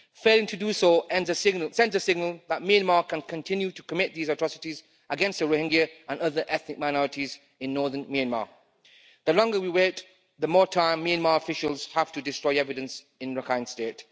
Failing to do so sends the signal that Myanmar can continue to commit these atrocities against the Rohingya and other ethnic minorities in northern Myanmar. The longer we wait, the more time Myanmar officials have to destroy evidence in Rakhine State.